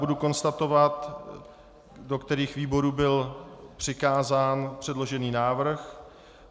Budu konstatovat, do kterých výborů byl přikázán předložený návrh.